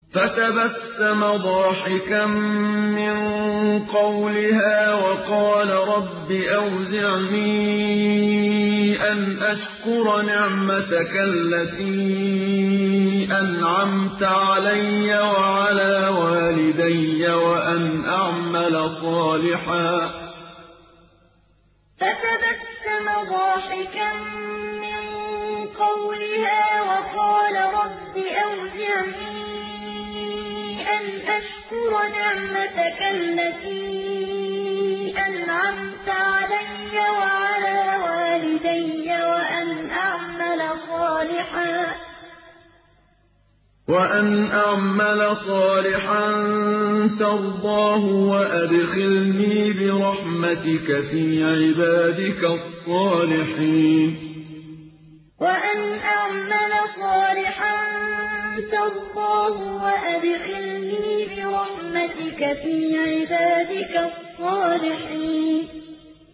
فَتَبَسَّمَ ضَاحِكًا مِّن قَوْلِهَا وَقَالَ رَبِّ أَوْزِعْنِي أَنْ أَشْكُرَ نِعْمَتَكَ الَّتِي أَنْعَمْتَ عَلَيَّ وَعَلَىٰ وَالِدَيَّ وَأَنْ أَعْمَلَ صَالِحًا تَرْضَاهُ وَأَدْخِلْنِي بِرَحْمَتِكَ فِي عِبَادِكَ الصَّالِحِينَ فَتَبَسَّمَ ضَاحِكًا مِّن قَوْلِهَا وَقَالَ رَبِّ أَوْزِعْنِي أَنْ أَشْكُرَ نِعْمَتَكَ الَّتِي أَنْعَمْتَ عَلَيَّ وَعَلَىٰ وَالِدَيَّ وَأَنْ أَعْمَلَ صَالِحًا تَرْضَاهُ وَأَدْخِلْنِي بِرَحْمَتِكَ فِي عِبَادِكَ الصَّالِحِينَ